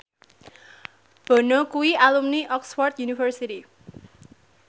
Bono kuwi alumni Oxford university